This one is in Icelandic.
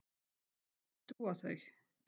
Á hvað trúa þau?